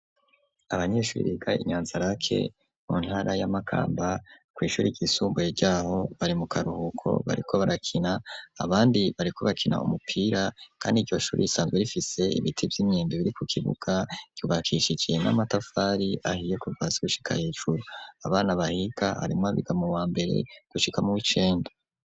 Abanyeshure biga inyanzarake mu ntara y'amakamba ku ishuri ry'isumbuye ryaho bari mu karuhuko bariko barakina abandi bariko bakina umupira kandi iryoshuri isanzwe rifise ibiti by'imyendu biri ku kibuga ryubakishiigiye n'amatafari ahiye kuvazi hushika hecuru abana bahiga arimo abiga mu wa mbere gushika mo w'icenda